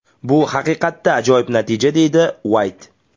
Bu haqiqatda ajoyib natija”, deydi Uayt.